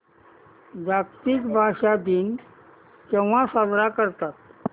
जागतिक भाषा दिन केव्हा साजरा करतात